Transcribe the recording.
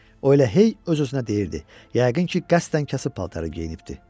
O elə hey öz-özünə deyirdi, yəqin ki, qəsdən kasıb paltarı geyinibdir.